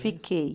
Fiquei.